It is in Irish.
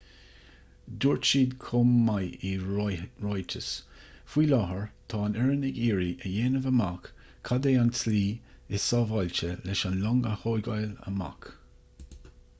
dúirt siad chomh maith i ráiteas faoi láthair tá an fhoireann ag iarraidh a dhéanamh amach cad é an tslí is sábháilte leis an long a thógáil amach